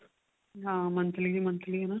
ਹਾਂ monthly ਦੀ monthly ਨਾ